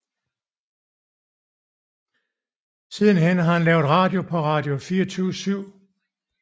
Sidenhen har han lavet radio på Radio 24Syv